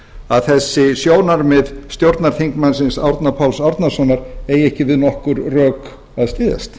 að þessi sjónarmið stjórnarþingmannsins árna páls árnasonar eigi ekki við nokkur rök að styðjast